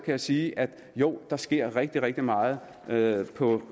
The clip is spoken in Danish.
jeg sige at jo der sker rigtig rigtig meget meget på